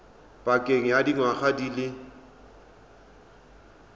pakeng ya dingwaga di le